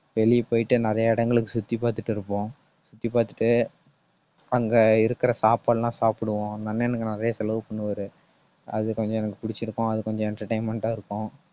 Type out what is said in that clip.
வெளிய போயிட்டு நிறைய இடங்களுக்கு சுத்தி பார்த்துட்டு இருப்போம். சுத்தி பார்த்துட்டு அங்க இருக்கிற சாப்பாடெல்லாம் சாப்பிடுவோம். அந்த அண்ணன் எனக்கு நிறைய செலவு பண்ணுவாரு. அது கொஞ்சம் எனக்கு பிடிச்சிருக்கும். அது கொஞ்சம் entertainment ஆ இருக்கும்.